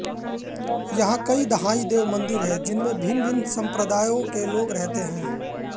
यहाँ कई दहाई देव मंदिर हैं जिनमे भिन्न संप्रदायों के लोग रहते हैं